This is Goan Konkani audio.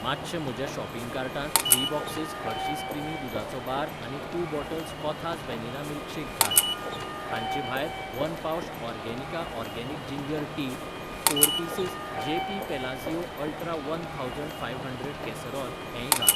मातशें म्हज्या शॉपिंग कार्टांत थ्री बॉक्सस हर्शिज क्रिमी दुदाचो बार आनी टू बाटल्स कोथास वेनिला मिल्कशेक घाल. हांचे भायर one pouch Organica organic ginger tea, four pieces JP Palazzio ultra one thousand five hundred casserole हेंय घाल.